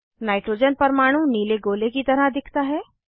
nitrogen परमाणु नीले गोले की तरह दिखता है